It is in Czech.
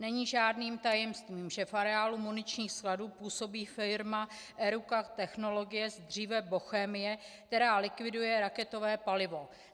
Není žádným tajemstvím, že v areálu muničních skladů působí firma Eruca Technologies, dříve Bochemie, která likviduje raketové palivo.